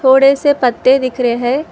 बड़े से पत्ते दिख रहे हैं।